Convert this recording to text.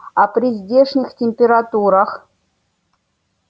а при здешних температурах